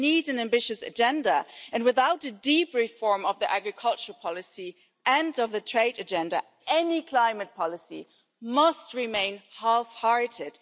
We need an ambitious agenda, and without a deep reform of the agricultural policy and of the trade agenda, any climate policy must remain half hearted.